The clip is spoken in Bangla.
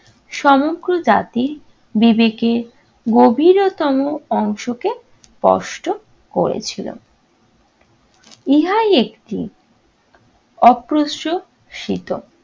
সমগ্র জাতির বিবেকে গভীরতম অংশকে স্পষ্ট করেছিল। ইহাই একটি অপ্রস্রশীত